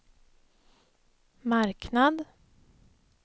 marknad